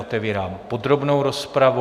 Otevírám podrobnou rozpravu.